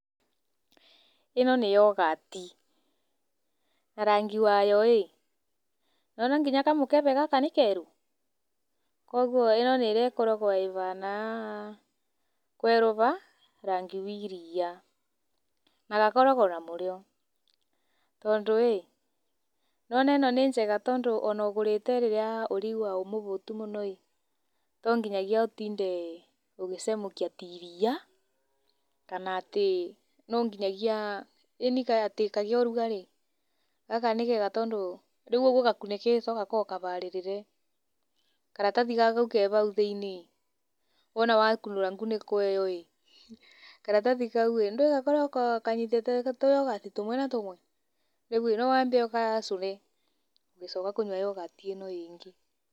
Ĩno nĩ yogati na rangi wayo ĩĩ nĩwona nginya kamũkebe gaka nĩ kerũ kwoguo ĩĩ ĩno nĩrĩa ĩkoragwo ĩbana kweruba rangi wa iria na gakoragwo na mũrĩo tondũ ĩĩ nĩwona ĩno nĩ njega tondũ ũnaũgũrĩte rĩrĩa ũraigua ũmũbũtu mũno tonginyagia utinde ũgĩcamũkia ta iria kana atĩ nonginyagia ini kaa atĩ kagĩe ũrugarĩ gaka nĩ kega tondũ rĩu ũguo gakunĩkĩto gakoragwo kabarĩrĩre, karathi kau ke bau thĩinĩ wona wakunũra ngunĩko ĩĩyo karatathi kau ĩĩ ndũĩ gakoragwo kanyitĩte tũyogati tũmwe na tũmwe rĩu íĩ no wambe ũgacũne ũgĩcoka kũnyua yogati ĩno ĩĩngĩ.